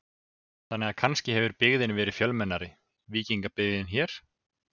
Þannig að kannski hefur byggðin verið fjölmennari, víkingabyggðin hér?